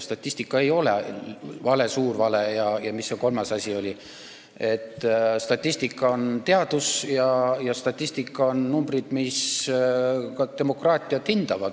Statistika ei ole vale, suur vale ja mis see kolmas asi oligi, statistika on teadus ja statistika on numbrid, mis ka demokraatiat hindavad.